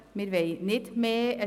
Wir wollen nicht mehr.